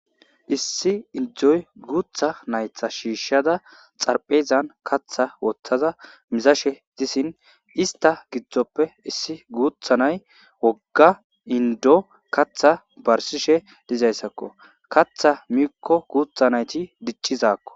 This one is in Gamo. issi indzoy guutha naytha shiishshada xarphezan katha woththaza mizashe disin ista gidzdzoppe issi guutha nay wogga indo katha barsishe dizayssakko katha miikko guutha nayti diccizakko